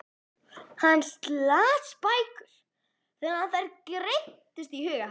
Hann las bækur þannig að þær greyptust í huga hans.